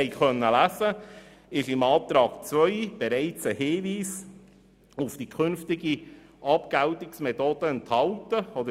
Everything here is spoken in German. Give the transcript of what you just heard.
In Antrag 2 ist bereits ein Hinweis auf die künftige Abgeltungsmethode vorhanden.